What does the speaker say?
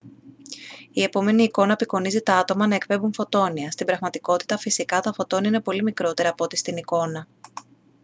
η επόμενη εικόνα απεικονίζει τα άτομα να εκπέμπουν φωτόνια. στην πραγματικότητα φυσικά τα φωτόνια είναι πολύ μικρότερα από ό,τι στην εικόνα